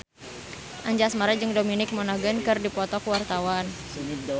Anjasmara jeung Dominic Monaghan keur dipoto ku wartawan